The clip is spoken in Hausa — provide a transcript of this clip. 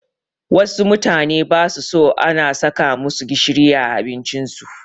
Wassu mutane basu so ana saka masu gishiri a abincin su